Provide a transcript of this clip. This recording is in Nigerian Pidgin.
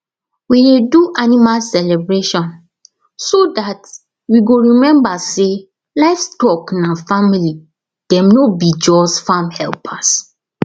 we dey do animal celebration so that we go remember say livestock na family dem no be just farm helpers